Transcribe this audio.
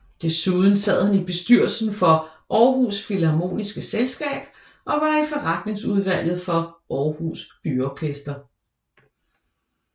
Desuden sad han i bestyrelsen for Aarhus Philharmoniske Selskab og var i forretningsudvalget for Aarhus Byorkester